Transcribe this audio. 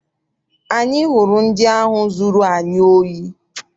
Anyị hụrụ ndị ahụ zụrụ anyị ohi.